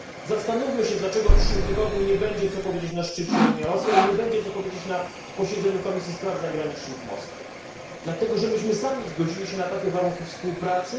Zastanówmy się, dlaczego w przyszłym tygodniu nie będzie co powiedzieć na szczycie Unia Rosja i nie będzie co powiedzieć na posiedzeniu Komisji Spraw Zagranicznych w Moskwie. Dlatego, że sami zgodziliśmy się na takie warunki współpracy.